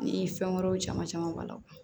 Ni fɛn wɛrɛw caman caman ba la